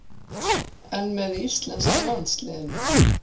En með íslenska landsliðinu?